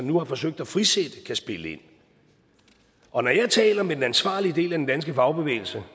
nu har forsøgt at frisætte kan spille ind og når jeg taler med den ansvarlige del af den danske fagbevægelse